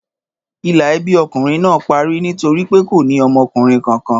Ìlà ẹbí ọkùnrin náà parí nítorí pé kò ní ọmọkùnrin kankan.